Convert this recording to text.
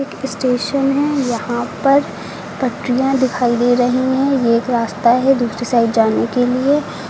Station है यहां पर पटरियां दिखाई दे रही हैं यह एक रास्ता है दूसरी साइड जाने के लिए।